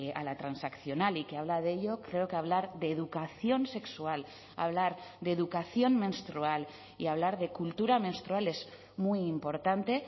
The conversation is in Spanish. a la transaccional y que habla de ello creo que hablar de educación sexual hablar de educación menstrual y hablar de cultura menstrual es muy importante